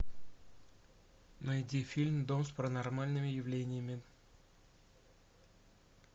найди фильм дом с паранормальными явлениями